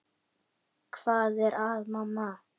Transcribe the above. Hvað er að, mamma?